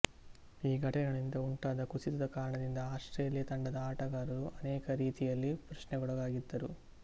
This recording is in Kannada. ಈ ಘಟನೆಗಳಿಂದ ಉಂಟಾದ ಕುಸಿತದ ಕಾರಣದಿಂದ ಆಸ್ಟ್ರೇಲಿಯಾ ತಂಡದ ಆಟಗಾರರು ಅನೇಕ ರೀತಿಯಿಂದ ಪ್ರಶ್ನೆಗೊಳಗಾಗಿದ್ದರು